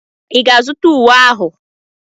Ị ga-azụta uwe ahụ?